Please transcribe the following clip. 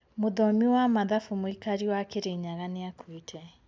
Mũthomi wa mathabu, mũikari wa Kirinyaga nĩakuite